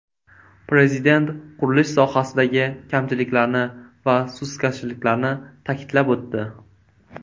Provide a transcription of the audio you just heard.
Prezident qurilish sohasidagi kamchiliklarni va sustkashliklarni ta’kidlab o‘tdi.